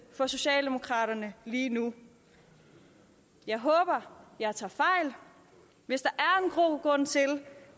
for socialdemokraterne lige nu jeg håber jeg tager fejl hvis der